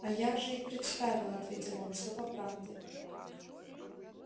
а я же и представил ответил он всё по правде